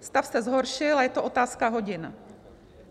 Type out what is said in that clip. Stav se zhoršil a je to otázka hodin.